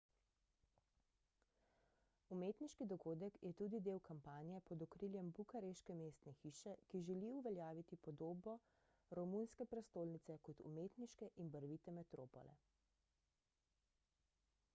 umetniški dogodek je tudi del kampanje pod okriljem bukareške mestne hiše ki želi uveljaviti podobo romunske prestolnice kot umetniške in barvite metropole